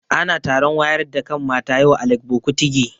Ana taron wayar da kan mata yau a Legbo Kutigi